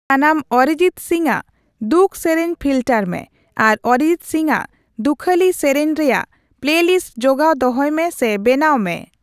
ᱥᱟᱱᱟᱢ ᱚᱨᱤᱡᱤᱛ ᱥᱤᱝ ᱟᱜ ᱫᱩᱠᱷ ᱥᱮᱨᱮᱧ ᱯᱷᱤᱞᱴᱟᱨ ᱢᱮ ᱟᱨ ᱚᱨᱤᱡᱤᱛ ᱥᱤᱝ ᱟᱜ ᱫᱩᱠᱷᱟᱹᱞᱤ ᱥᱮᱥᱮᱧ ᱨᱮᱭᱟᱜ ᱯᱞᱮᱞᱤᱥᱴ ᱡᱚᱜᱟᱣ ᱫᱚᱦᱚᱭ ᱢᱮ ᱥᱮ ᱵᱮᱱᱟᱣ ᱢᱮ